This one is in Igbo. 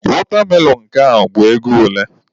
Watermelon nke a bụ ego ole?